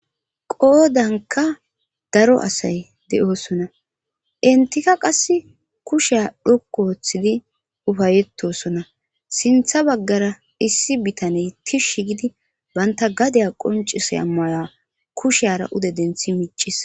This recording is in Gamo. Qoodanka daro asay de7oosona intika qass kushea dhokku wooththidi ufayetosona sintha baggara issi bitaney tishshi gidi banta gadeya qoncisaya maya kusheara ude denthi miccis.